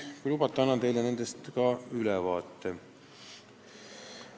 Kui lubate, annan teile nendest ülevaate.